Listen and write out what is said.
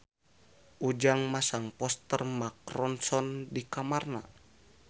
Ujang masang poster Mark Ronson di kamarna